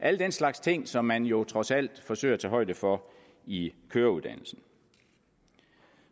alle den slags ting som man jo trods alt forsøger at tage højde for i køreuddannelsen